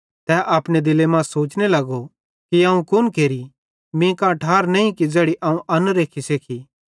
तै अपने दिले मां सोचतां ज़ोने लगो कि अवं कुन केरि मीं कां ठारे नईं कि ज़ैड़ी अवं अन्न रेख्खी सेखी